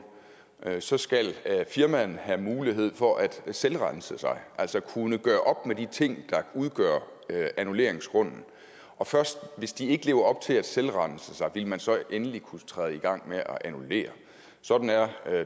så skal firmaerne have mulighed for at selvrense sig altså kunne gøre op med de ting der udgør annulleringsgrunden og først hvis de ikke lever op til at selvrense sig ville man så endelig kunne gå i gang med at annullere sådan er